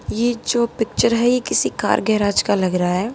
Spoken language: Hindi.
ये जो पिक्चर है ये किसी कार गैराज का लग रहा है।